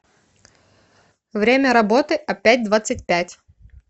время работы опятьдвадцатьпять